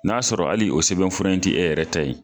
N'a sɔrɔ hali o sɛbɛnfura in tɛ e yɛrɛ ta ye.